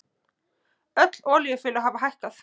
Öll olíufélög hafa hækkað